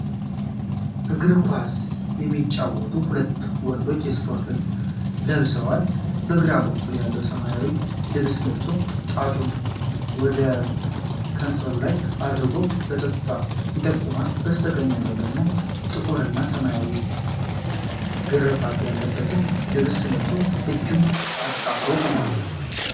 እግር ኳስ የሚጫወቱ ሁለት ወንዶች የስፖርት ልብስ ለብሰዋል። በግራ በኩል ያለው ሰው ሰማያዊ ልብስ ለብሶ ጣቱን ከንፈሩ ላይ አድርጎ ፀጥታን ይጠይቃል። በስተቀኝ ያለው ሰው ደግሞ ጥቁርና ሰማያዊ ግርፋት ያለበትን ልብስ ለብሶ እጁን አጣጥፎ ቆሟል።